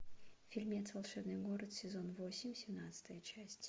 фильмец волшебный город сезон восемь семнадцатая часть